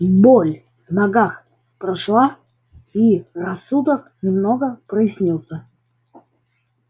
и боль в ногах прошла и рассудок немного прояснился